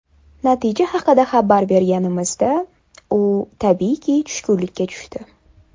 Natija haqida xabar berganimizda, u, tabiiyki tushkunlikka tushdi.